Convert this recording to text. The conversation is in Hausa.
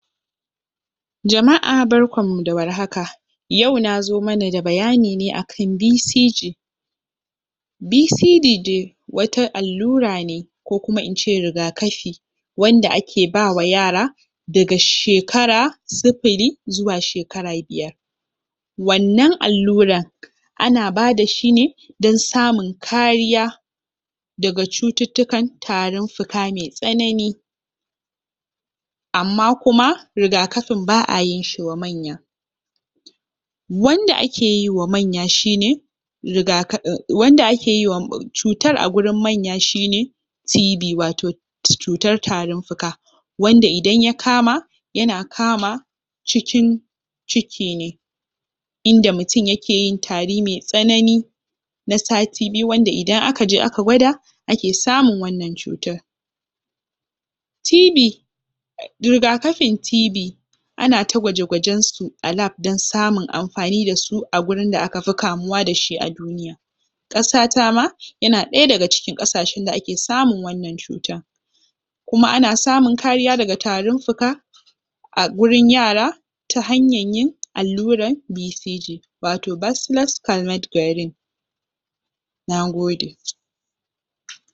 Jama’a barkanmu da warhaka yau na zo mana da bayani ne akan BCG BCG de wata allura ne ko kuma in ce rigakafi wanda ake bawa yara daga shekara sifili zuwa shekara biyar wannan alluran ana bada shi ne don samu kariya daga cututtukan tarin fuka mai tsanani amma kuma rigakafin ba a yin shi wa manya Wanda ake yiwa manya shi ne rigakafin, wanke ake yiwa cutar a wurin manya shi ne TB wato cutar tarin fuka wanda idan ya kama yana kama cikin ciki ne inda mutum yake yin tari me tsanani na sati biyu, wanda idan aka je aka gwada ake samun wannan cutar TB rigakafin TB ana ta gwaje-gwajensu a lab don samun amfani da su a gurin da aka fi kamuwa da shi a duniya ƙasata ma yana ɗaya daga cikin ƙasashen da ake samun wannan cutan kuma ana samun kariya daga tarin fuka a gurin yara ta hanyar yin allurar BCG wato Bacillus Calmette-Guerin Nagode